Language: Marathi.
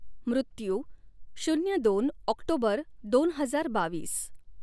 मृत्यू शून्य दोन ॲाक्टोबर दोन हजार बावीस